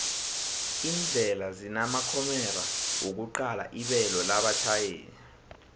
indlela zinamakhomera wokuqala ibelo labatjhayeli